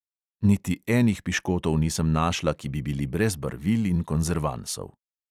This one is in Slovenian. Niti enih piškotov nisem našla, ki bi bili brez barvil in konzervansov.